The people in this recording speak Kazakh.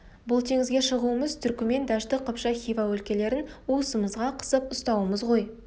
бұл теңізге шығуымыз түркімен дәшті қыпшақ хива өлкелерін уысымызға қысып ұстауымыз ғой